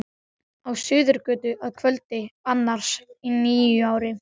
Á Suðurgötu að kvöldi annars í nýári.